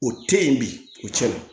O te yen bi o cɛn